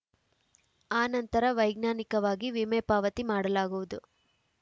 ಆ ನಂತರ ವೈಜ್ಞಾನಿಕವಾಗಿ ವಿಮೆ ಪಾವತಿ ಮಾಡಲಾಗುವುದು